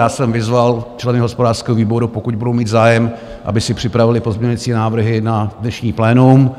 Já jsem vyzval členy hospodářského výboru, pokud budou mít zájem, aby si připravili pozměňovací návrhy na dnešní plénum,